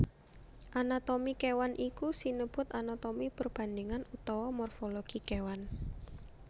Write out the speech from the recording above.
Anatomi kéwan iku sinebut anatomi perbandhingan utawa morfologi kéwan